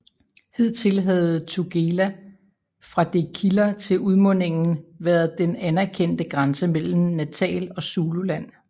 Hidtil havde Tugela fra det kilder til udmundingen været den anerkendte grænse mellem Natal og Zululand